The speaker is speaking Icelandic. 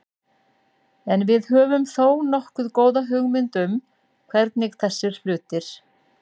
En við höfum þó nokkuð góða hugmynd um hvernig þessir hlutir.